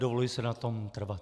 Dovoluji si na tom trvat.